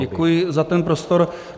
Děkuji za ten prostor.